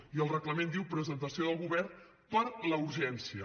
i el reglament diu presentació del govern per a la urgència